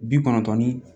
Bi kɔnɔntɔn ni